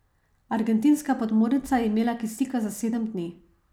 Argentinska podmornica je imela kisika za sedem dni.